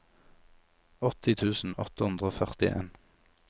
åtti tusen åtte hundre og førtien